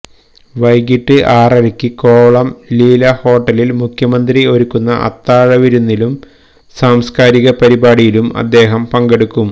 വൈകീട്ട് ആറരയ്ക്ക് കോവളം ലീല ഹോട്ടലിൽ മുഖ്യമന്ത്രി ഒരുക്കുന്ന അത്താഴ വിരുന്നിലും സാംസ്ക്കാരിക പരിപാടിയിലും അദ്ദേഹം പങ്കെടുക്കും